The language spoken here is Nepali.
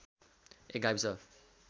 एक गाविस